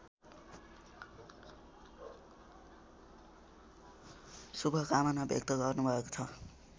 शुभकामना व्यक्त गर्नुभएको छ